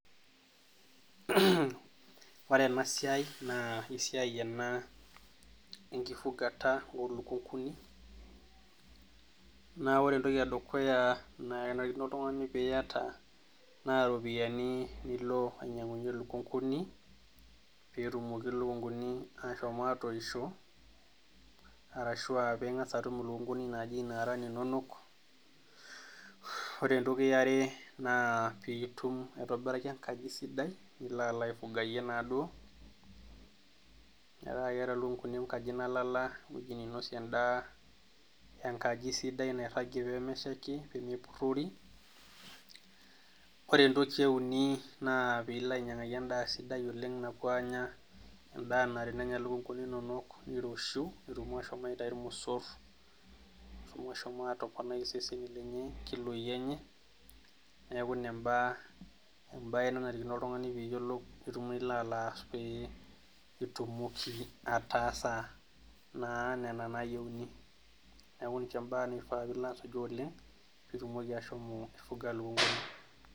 Ore ena siai naa esiai ena enkifugata oolukunkuni naa ore entoki edukuya naa kenarikino oltung'ani peiyata naa iropiyiani nilo ainyiang'unyie ilukunkuni peetumoki ilikunkuni aashom aatoishio ashua ping'as atum ilikunkunini naaji inaara ininonok ore entoki yare naa piitum aitobiraki enkaji sidai nilo alo aifugayie naaduo metaa keeta ilikunkuni enkaji nalala nainosie endaa enkaji sidai nairagie peemeshaiki ore entoki eeini naa piilo ainyiang'aki endaa sidai oleng napuo aanya endaa naa ore peenya ilukunkunk inonok neiroshiu peetum aashom aitayu irmosor peeshom atoponai iseseni onkiloi enye neeku ina embae natii naa oltung'ani netumoki ataasa naa nena naayieuni neeku nena imbaa duo nilo aas oleng peitumoki ashomo aifuga ilikunkuni.